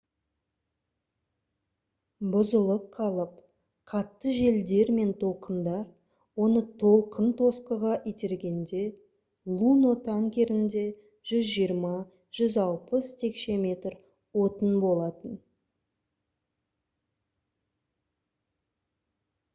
бұзылып қалып қатты желдер мен толқындар оны толқынтосқыға итергенде luno танкерінде 120-160 текше метр отын болатын